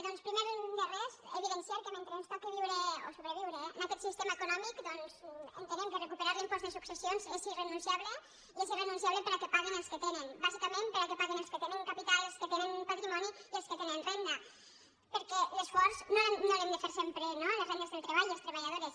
doncs primer de res evidenciar que mentre ens toqui viure o sobreviure en aquest sistema econòmic doncs entenem que recuperar l’impost de successions és irrenunciable i és irrenunciable perquè paguin els que tenen bàsicament perquè paguin els que tenen capital i els que tenen patrimoni i els que tenen renda perquè l’esforç no l’hem de fer sempre no les rendes del treball i les treballadores